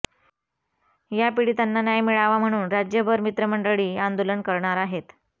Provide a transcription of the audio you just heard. या पीडितांना न्याय मिळावा म्हणून राज्यभर मित्र मंडळी आंदोलन करणार आहेत